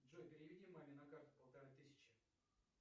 джой переведи маме на карту полторы тысячи